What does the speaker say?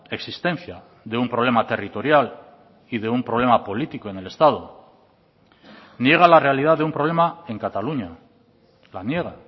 existencia de un problema territorial y de un problema político en el estado niega la realidad de un problema en cataluña la niega